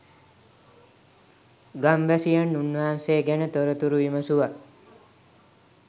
ගම්වැසියන් උන්වහන්සේ ගැන තොරතුරු විමසුවා.